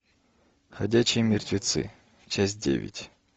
ходячие мертвецы часть девять